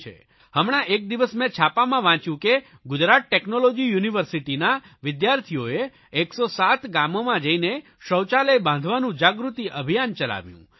હમણાં એક દિવસ મેં છાપામાં વાંચ્યું કે ગુજરાત ટેકનોલોજી યુનિવર્સિટીના વિદ્યાર્થીઓએ 107 ગામોમાં જઇને શૌચાલય બાંધવાનું જાગૃતિ અભિયાન ચલાવ્યું